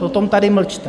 Potom tady mlčte!